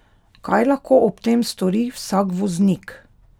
Kaj lahko ob tem stori vsak voznik?